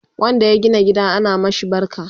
wanda ya gina gida ana mashi barka